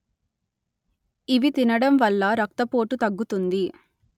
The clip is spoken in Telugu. ఇవి తినడం వల్ల రక్తపోటు తగ్గుతుంది